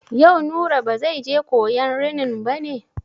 Yau Nura ba zai je koyan rinin ba ne?